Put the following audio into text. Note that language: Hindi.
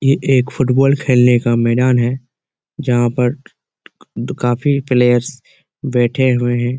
ये एक फुटबॉल खेलने का मैदान है जहां पर काफी प्लेयर्स बैठे हुए हैं।